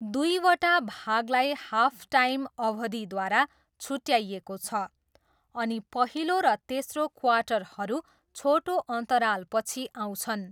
दुईवटा भागलाई हाफटाइम अवधिद्वारा छुट्याइएको छ अनि पहिलो र तेस्रो क्वार्टरहरू छोटो अन्तरालपछि आउँछन्।